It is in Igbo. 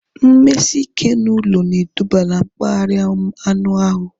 Mmesike ụlọ na eduba na mkparịa anụ ahụ